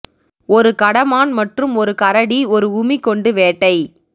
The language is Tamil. ஒரு கடமான் மற்றும் ஒரு கரடி ஒரு உமி கொண்டு வேட்டை